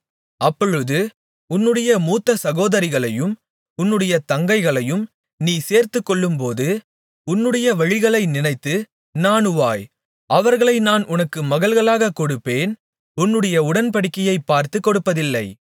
அப்பொழுது உன்னுடைய மூத்த சகோதரிகளையும் உன்னுடைய தங்கைகளையும் நீ சேர்த்துக்கொள்ளும்போது உன்னுடைய வழிகளை நினைத்து நாணுவாய் அவர்களை நான் உனக்குக் மகள்களாகக் கொடுப்பேன் உன்னுடைய உடன்படிக்கையைப் பார்த்துக் கொடுப்பதில்லை